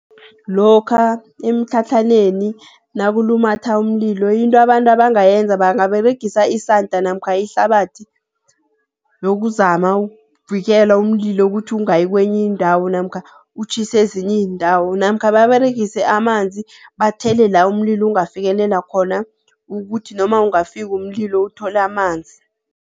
Lokha emitlhatlhaneni nakulumatha umlilo into abantu abangayenza, bangaberegisa isanda namkha ihlabathi yokuzama ukuvikela umlilo ukuthi ungayi kwenye indawo namkha utjhise ezinye iindawo. Namkha baberegise amanzi, bathele la umlilo ungafikelela khona ukuthi noma ungafika umlilo uthole amanzi.